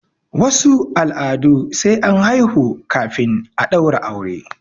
wasu al'adun sai an haihu kafin a daura aure